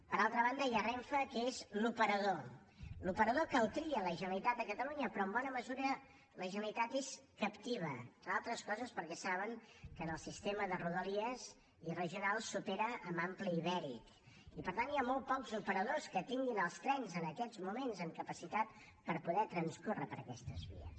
per altra banda hi ha renfe que és l’operador l’operador que el tria la generalitat de catalunya però en bona mesura la generalitat és captiva entre altres coses perquè saben que en el sistema de rodalies i regionals s’opera amb ampli ibèric i per tant hi ha molts pocs operadors que tinguin els trens en aquests moments amb capacitat per poder transcorre per aquestes vies